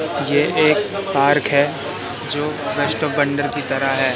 ये एक पार्क है जो रेस्टो बंदर की तरह है।